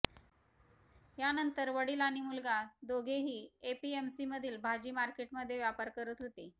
यानंतर वडील आणि मुलगा दोघेही एपीएमसीमधील भाजी मार्केटमध्ये व्यापार करत होते